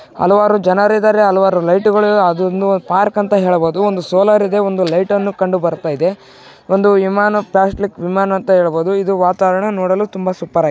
ಹಲವಾರು ಜನರಿದಾರೆ ಹಲವಾರು ಲೈಟ್ ಗಳಿವೆ ಅದು ಒಂದು ಪಾರ್ಕ್ ಅಂತ ಹೇಳಬಹುದು ಒಂದು ಸೋಲಾರ್ ಇದೆ ಒಂದು ಲೈಟ್ ಅನ್ನು ಕಂಡು ಬರುತ್ತ ಇದೆ ಒಂದು ವಿಮಾನ ಪ್ಲಾಸ್ಟಿಕ್ ವಿಮಾನ ಅಂತ ಹೇಳಬಹುದು ಇದು ವಾತಾವರಣ ನೋಡಲು ತುಂಬ ಸೂಪರಾ --